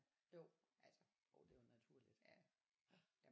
Jo jo det er jo naturligt ja